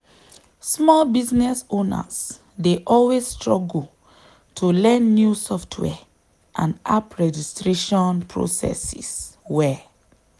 small business owners dey always struggle to learn new software and app registration processes well.